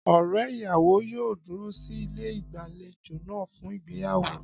Ọ̀rẹ́ ìyàwó yóò dúró sí ilé ìgbàlejò náà fún ìgbéyàwó.